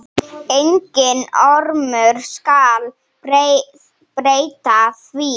Enginn ormur skal breyta því.